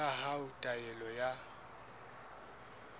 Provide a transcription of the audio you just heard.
ya hao ya taelo ya